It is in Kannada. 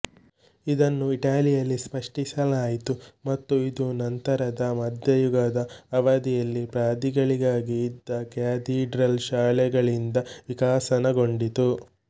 ಇದನ್ನು ಇಟಲಿಯಲ್ಲಿ ಸೃಷ್ಟಿಸಲಾಯಿತು ಮತ್ತು ಇದು ನಂತರದ ಮಧ್ಯಯುಗದ ಅವಧಿಯಲ್ಲಿ ಪಾದ್ರಿಗಳಿಗಾಗಿ ಇದ್ದ ಕ್ಯಾಥೀಡ್ರಲ್ ಶಾಲೆಗಳಿಂದ ವಿಕಸನಗೊಂಡಿತು